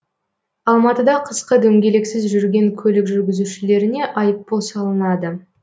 алматыда қысқы дөңгелексіз жүрген көлік жүргізушілеріне айыппұл салынады